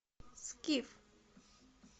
скиф